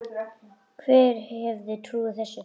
Hver hefði trúað þessu!